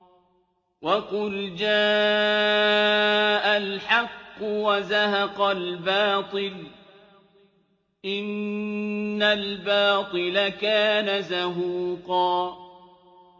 وَقُلْ جَاءَ الْحَقُّ وَزَهَقَ الْبَاطِلُ ۚ إِنَّ الْبَاطِلَ كَانَ زَهُوقًا